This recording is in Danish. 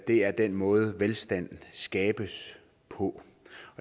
det er den måde velstand skabes på